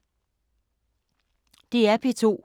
DR P2